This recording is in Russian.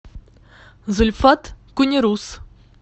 зульфат кунерус